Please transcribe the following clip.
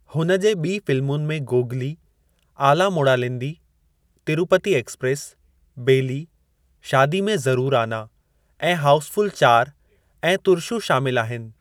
हुन जे ॿीं फ़िलमुनि में गोगली, आला मोड़ालेंदी, तिरुपति एक्सप्रेस, बेली, शादी में ज़रूरु आना ऐं हाऊस फ़ुल चार ऐं तुर्शु शामिलु आहिनि।